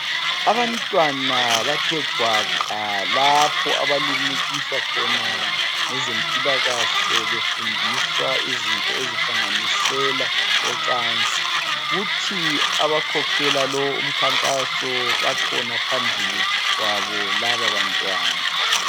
Abantwana bathe gwaqa lapha abalimukiswa khona ngezempilakahle befundiswa izinto ezihlanganisela ocansi. Kuthi abakhokhela lo umkhankaso bakhona phambili kwabo lababantwana.